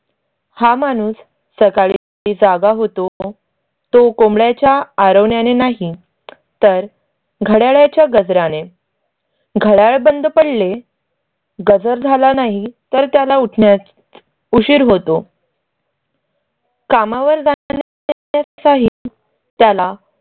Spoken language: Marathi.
तर घडय़ाळा च्या गजरा ने. घड्याळ बंद पडले. गजर झाला नाही तर त्याला उठण्यात उशीर होतो कामावर जाण्याचाही त्याला